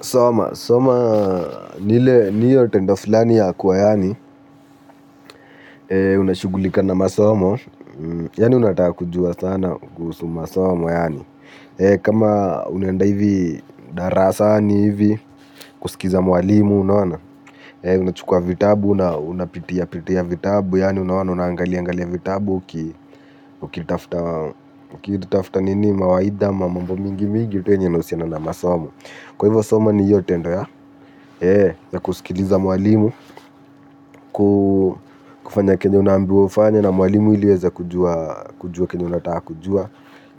Soma, soma ni ile niyo tendo fulani ya kuwa yaani unashughulika na masomo yani unataka kujua sana kuhusu masomo yaani kama unaenda hivi darasani hivi kuskiza mwalimu unaona unachukua vitabu, unapitiapitia vitabu yaani unaona unaangalia angalia vitabu ukitafuta nini mawaidha mamambo mingi mingi kwa hivyo soma ni hiyo tendo ya, ya kuskiliza mwalimu, kufanya kenye unaambiwa ufanye na mwalimu ili uweze kujua kenye unataka kujua.